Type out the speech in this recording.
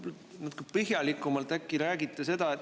Ma tahtsin natuke põhjalikumalt, äkki räägite seda.